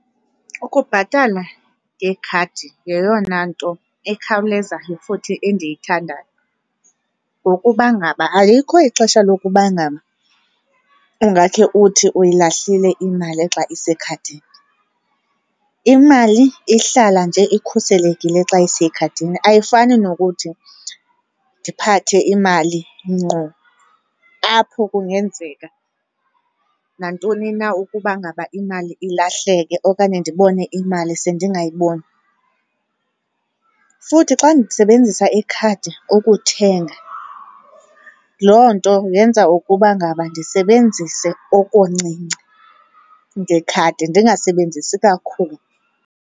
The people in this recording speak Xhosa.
Ukubhatala ngekhadi yeyona nto ekhawulezayo futhi endiyithandayo ngokuba ngaba alikho ixesha lokuba ngaba ungakhe uthi uyilahlile imali xa isekhadini. Imali ihlala nje ikhuselekile xa isekhadini ayifani nokuthi ndiphathe imali ngqo apho kungenzeka nantoni na ukuba ngaba imali ilahleke okanye ndibone imali sendingayiboni. Futhi xa ndisebenzisa ikhadi ukuthenga, loo nto yenza ukuba ngaba ndisebenzise okuncinci ngekhadi ndingasebenzisi kakhulu.